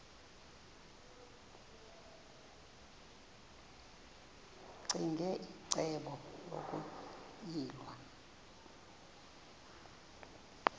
ccinge icebo lokuyilwa